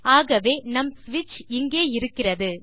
ஆகவே நம் ஸ்விட்ச் இங்கே இருக்கிறது